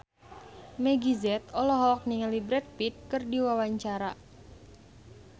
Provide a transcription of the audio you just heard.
Meggie Z olohok ningali Brad Pitt keur diwawancara